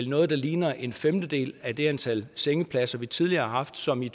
noget der ligner en femtedel af det antal sengepladser vi tidligere har haft som i